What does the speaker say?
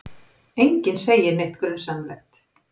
Enginn segir neitt grunsamlegt.